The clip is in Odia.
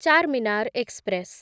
ଚାର୍‌ମିନାର୍ ଏକ୍ସପ୍ରେସ୍